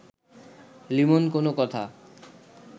লিমন কোনো কথা